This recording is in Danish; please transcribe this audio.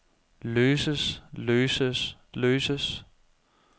løses løses løses